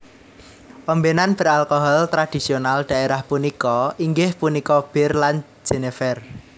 Ombenan beralkohol tradisional daerah punika inggih punika bir lan Jenever